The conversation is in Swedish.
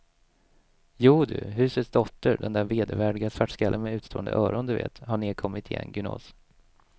Jodu, husets dotter, den där vedervärdiga svartskallen med utstående öron, du vet, har nedkommit igen gunås.